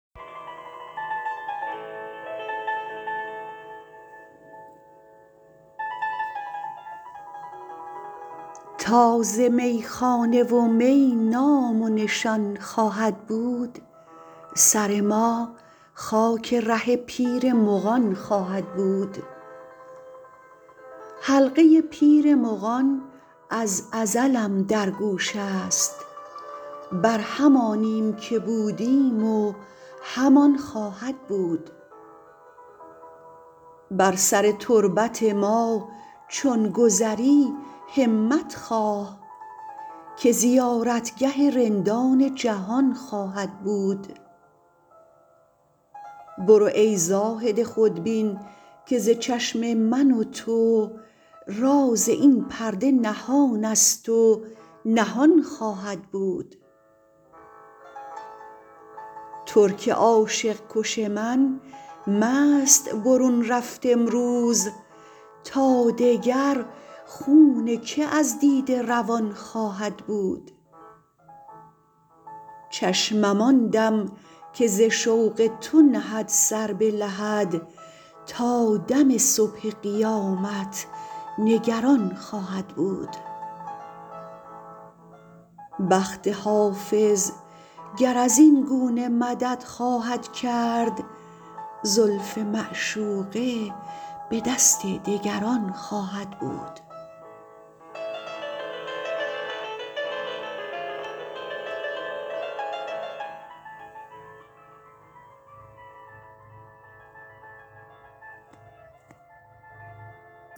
تا ز میخانه و می نام و نشان خواهد بود سر ما خاک ره پیر مغان خواهد بود حلقه پیر مغان از ازلم در گوش است بر همانیم که بودیم و همان خواهد بود بر سر تربت ما چون گذری همت خواه که زیارتگه رندان جهان خواهد بود برو ای زاهد خودبین که ز چشم من و تو راز این پرده نهان است و نهان خواهد بود ترک عاشق کش من مست برون رفت امروز تا دگر خون که از دیده روان خواهد بود چشمم آن دم که ز شوق تو نهد سر به لحد تا دم صبح قیامت نگران خواهد بود بخت حافظ گر از این گونه مدد خواهد کرد زلف معشوقه به دست دگران خواهد بود